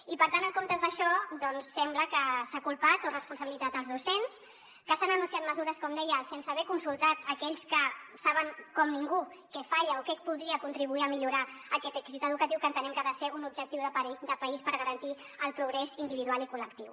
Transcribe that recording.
i per tant en comptes d’això doncs sembla que s’ha culpat o responsabilitzat els docents que s’han anunciat mesures com deia sense haver consultat aquells que saben com ningú què falla o què podria contribuir a millorar aquest èxit educatiu que entenem que ha de ser un objectiu de país per garantir el progrés individual i col·lectiu